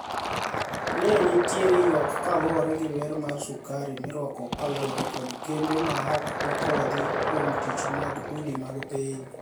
ni eniitiere yuak kaluore gi ber mar sukari mirwako kaluore kod kembe mahok opuodhi kuom tich mag udi mag piniy